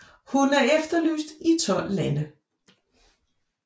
Hun er efterlyst i tolv lande